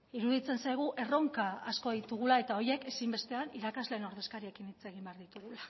iruditzen zaigu erronka asko ditugula eta horiek ezinbestean irakasleen ordezkariekin hitz egin behar ditugula